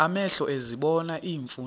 amehlo ezibona iimfundiso